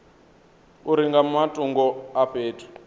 uri nga matungo a fhethu